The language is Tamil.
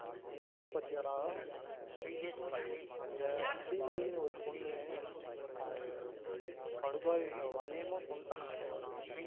அஹ் news பாத்தியாடா அந்த ஸ்ரீமதினு ஒரு பொண்ணு அஹ் படுபாவிங்க அணியாயம்மா கொன்னுடாங்க மச்சா